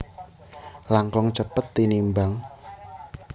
langkung cepet tinimbang